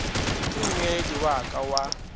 ke mmegedi wa ka wa